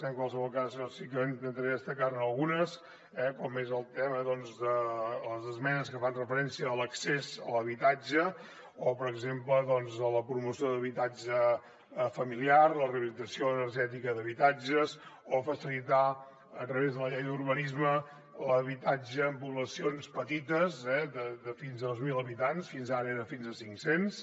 en qualsevol cas jo sí que intentaré destacar ne algunes com és el tema de les esmenes que fan referència a l’accés a l’habitatge o per exemple la promoció d’habitatge familiar la rehabilitació energètica d’habitatges o facilitar a través de la llei d’urbanisme l’habitatge en poblacions petites eh de fins a dos mil habitants fins ara de fins a cinc cents